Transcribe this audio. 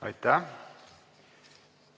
Aitäh!